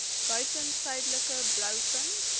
buiten suidelike blouvin